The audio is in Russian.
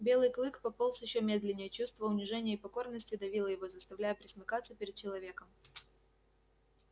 белый клык пополз ещё медленнее чувство унижения и покорности давило его заставляя пресмыкаться перед человеком